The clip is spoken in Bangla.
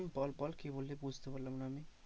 হম বল বল কি বললি বুঝতে পারলাম না আমি।